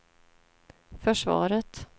försvaret